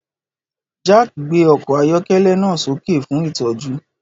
Jack gbé ọkọ̀ ayọ́kẹ́lẹ́ náà sókè fún ìtọ́jú.